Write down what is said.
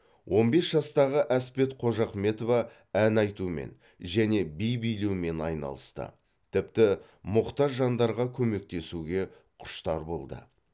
он бес жастағы әспет қожахметова ән айтумен және би билеумен айналысты тіпті мұқтаж жандарға көмектесуге құштар болды